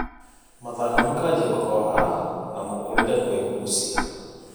mathangũ makanjĩa kũhoha na mũkũrĩre kũĩgũcĩa